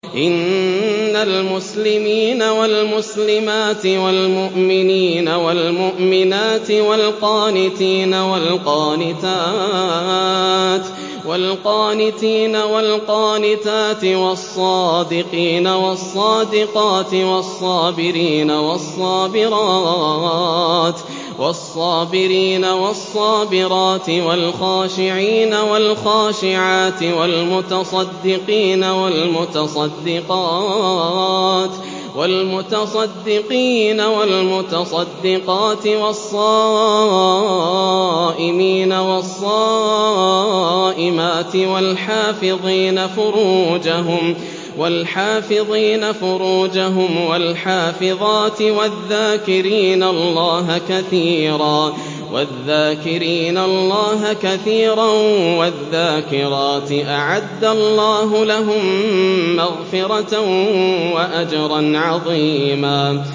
إِنَّ الْمُسْلِمِينَ وَالْمُسْلِمَاتِ وَالْمُؤْمِنِينَ وَالْمُؤْمِنَاتِ وَالْقَانِتِينَ وَالْقَانِتَاتِ وَالصَّادِقِينَ وَالصَّادِقَاتِ وَالصَّابِرِينَ وَالصَّابِرَاتِ وَالْخَاشِعِينَ وَالْخَاشِعَاتِ وَالْمُتَصَدِّقِينَ وَالْمُتَصَدِّقَاتِ وَالصَّائِمِينَ وَالصَّائِمَاتِ وَالْحَافِظِينَ فُرُوجَهُمْ وَالْحَافِظَاتِ وَالذَّاكِرِينَ اللَّهَ كَثِيرًا وَالذَّاكِرَاتِ أَعَدَّ اللَّهُ لَهُم مَّغْفِرَةً وَأَجْرًا عَظِيمًا